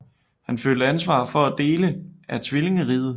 Han følte ansvar for alle dele af tvillingriget